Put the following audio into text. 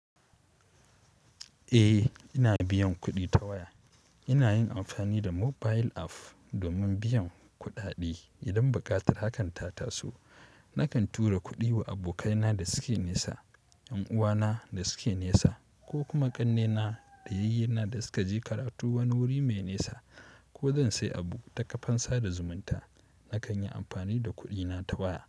Eh, ina biyan kuɗi ta waya. Ina yin amfani da mobile app domin biyan kuɗaɗe idan buƙatar hakan ta taso. Nakan tura kuɗi wa abokaina da suke nesa, 'yan uwana da suke nesa ko kuma ƙannena da yayyena da suka je karatu wani wuri mai nesa ko zan sayi abu ta kafan sada zumunta, nakan yi amfani da kuɗina ta waya.